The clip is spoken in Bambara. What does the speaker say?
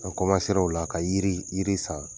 An o la ka yiri, yiri san,